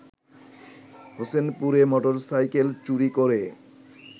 হোসেনপুরে motorcycle চুরি করে